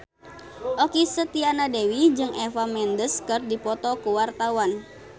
Okky Setiana Dewi jeung Eva Mendes keur dipoto ku wartawan